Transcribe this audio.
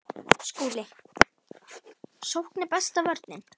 SKÚLI: Sókn er besta vörnin.